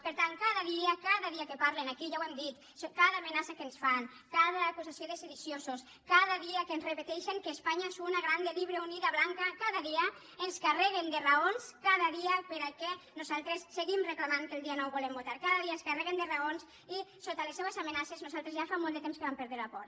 per tant cada dia cada dia que parlen aquí ja ho hem dit cada amenaça que ens fan cada acusació de sediciosos cada dia que ens repeteixen que espanya és una grande libre unida blanca carreguen de raons cada dia perquè nosaltres seguim reclamant que el dia nou volem votar cada dia ens carreguen de raons i sota les seves amenaces nosaltres ja fa molt de temps que vam perdre la por